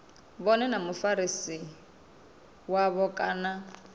vhone na mufarisi wavho kana